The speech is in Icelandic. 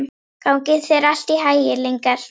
Gangi þér allt í haginn, Lyngar.